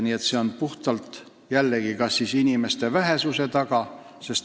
Probleem on jällegi puhtalt inimeste vähesuses.